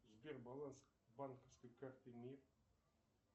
сбер баланс банковской карты мир